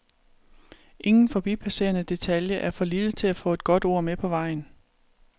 Ingen forbipasserende detalje er for lille til at få et godt ord med på vejen.